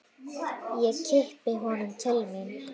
Ég kippi honum til mín.